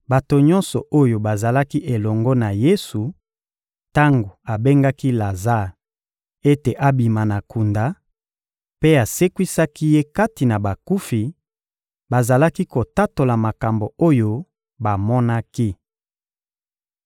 Bato nyonso oyo bazalaki elongo na Yesu tango abengaki Lazare ete abima na kunda mpe asekwisaki ye kati na bakufi, bazalaki kotatola makambo oyo bamonaki.